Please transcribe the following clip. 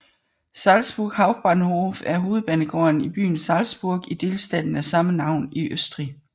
Salzburg Hauptbahnhof er hovedbanegården i byen Salzburg i delstaten af samme navn i Østrig